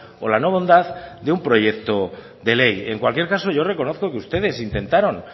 o la no bondad de un proyecto de ley en cualquier caso yo reconozco que ustedes intentaron